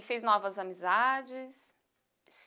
E fez novas amizades?